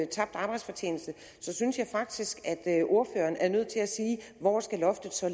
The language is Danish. tabt arbejdsfortjeneste så synes jeg faktisk at ordføreren er nødt til at sige hvor loftet så